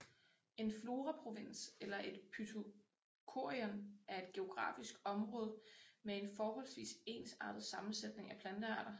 En floraprovins eller et phytochorion er et geografisk område med en forholdsvis ensartet sammensætning af plantearter